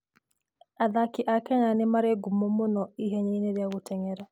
Athaki a Kenya nĩ marĩ ngumo mũno ihenya-inĩ rĩa gũteng'era.